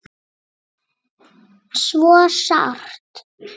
Svo sárt.